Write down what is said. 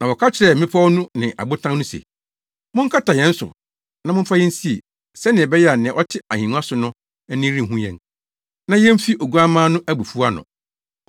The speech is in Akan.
Na wɔka kyerɛɛ mmepɔw no ne abotan no se, “Monkata yɛn so na momfa yɛn nsie, sɛnea ɛbɛyɛ a nea ɔte ahengua no so no ani renhu yɛn, na yemfi Oguamma no abufuw ano.